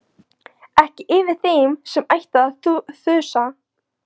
Ekki yfir þeim sem ætti að þusa.